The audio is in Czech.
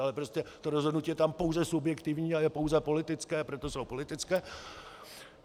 Ale prostě to rozhodnutí je tam pouze subjektivní a je pouze politické, proto jsou političtí.